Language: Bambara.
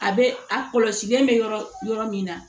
A bɛ a kɔlɔsilen bɛ yɔrɔ yɔrɔ min na